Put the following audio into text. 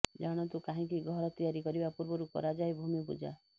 ଜାଣନ୍ତୁ କାହିଁକି ଘର ତିଆରି କରିବା ପୂର୍ବରୁ କରାଯାଇଥାଏ ଭୂମି ପୂଜା